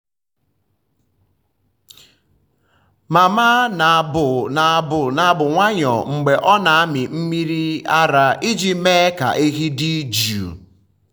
mama um na-abụ na-abụ abụ nwayọọ mgbe ọ na-amị mmiri ara um iji mee ka ehi dị jụụ.